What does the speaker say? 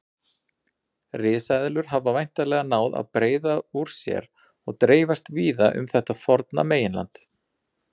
Risaeðlur hafa væntanlega náð að breiða úr sér og dreifast víða um þetta forna meginland.